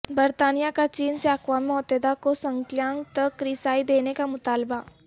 برطانیہ کا چین سے اقوام متحدہ کو سنکیانگ تک رسائی دینے کا مطالبہ